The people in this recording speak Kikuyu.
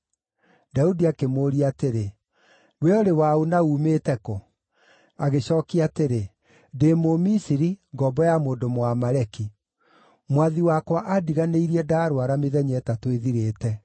Daudi akĩmũũria atĩrĩ, “We ũrĩ wa ũ na uumĩte kũ?” Agĩcookia atĩrĩ, “Ndĩ Mũmisiri, ngombo ya mũndũ Mũamaleki. Mwathi wakwa aandiganĩirie ndarũara, mĩthenya ĩtatũ ĩthirĩte.